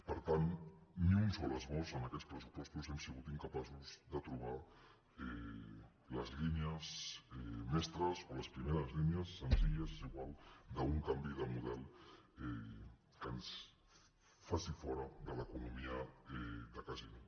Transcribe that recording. per tant ni un sol esbós en aquests pressupostos hem sigut incapaços de trobar de les línies mestres o les primeres línies senzilles és igual d’un canvi de model que ens faci fora de l’economia de casino